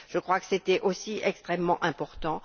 Je crois que c'était aussi extrêmement important.